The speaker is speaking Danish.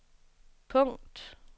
punkt